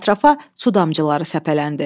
Ətrafa su damcıları səpələndi.